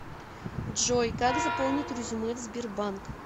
джой как заполнить резюме в сбербанк